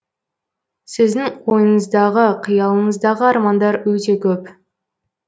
сіздің ойыңыздағы қиялыңыздағы армандар өте көп